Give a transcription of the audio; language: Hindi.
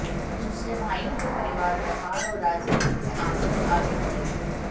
दूसरे भाइयों के परिवार व्यापार और राजनीति में आकर आगे बढ़ गए